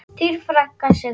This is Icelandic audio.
Þín frænka, Sigrún.